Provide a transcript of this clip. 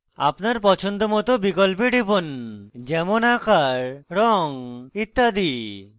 আপনার পছন্দমত বিকল্পে টিপুন যেমন আকার রঙ ইত্যাদি